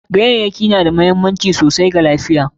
Ganyayyaki na da muhimmanci sosai wa lafiya.